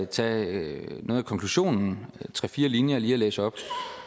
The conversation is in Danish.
tage noget af konklusionen tre fire linjer og læse op